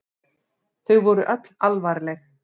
Þau voru öll alvarleg.